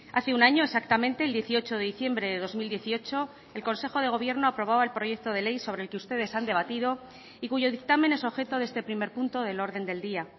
hace un año exactamente el dieciocho de diciembre de dos mil dieciocho el consejo de gobierno aprobaba el proyecto de ley sobre el que ustedes han debatido y cuyo dictamen es objeto de este primer punto del orden del día